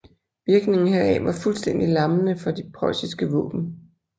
Virkningen heraf var fuldstændig lammende for de preussiske våben